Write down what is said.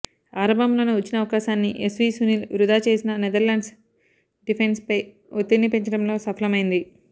ఆరంభంలోనే వచ్చిన అవకాశాన్ని ఎస్వీ సునీల్ వృథా చేసినా నెదర్లాండ్స్ డిఫెన్స్పై ఒత్తిడిని పెంచడంలో సఫలమైంది